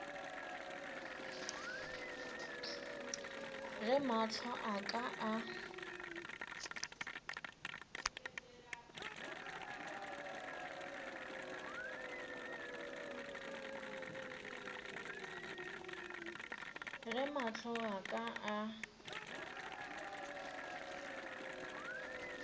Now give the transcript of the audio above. ge mahlo a ka a